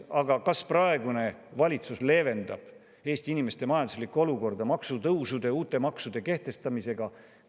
Aga kas praegune valitsus leevendab Eesti inimeste majanduslikku olukorda maksutõusude ja uute maksude kehtestamisega?